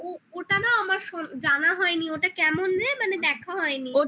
ওটা না আমার জানা হয়নি ওটা কেমন রে মানে দেখা হয়নি